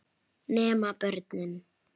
Prófið það núna.